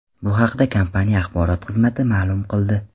Bu haqda kompaniya axborot xizmati ma’lum qildi .